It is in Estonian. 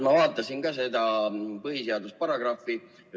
Ma vaatasin ka seda põhiseaduse paragrahvi.